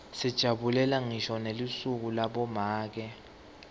sijabulela ngisho nelisuku labomake